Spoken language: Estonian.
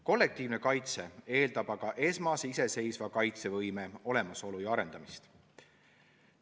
Kollektiivne kaitse eeldab aga esmase iseseisva kaitsevõime olemasolu ja arendamist.